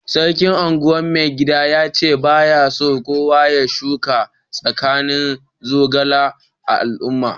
Sarkin Ungwan mai gida ya ce ba ya so kowa ya shuka tushin zogalai a'alumman.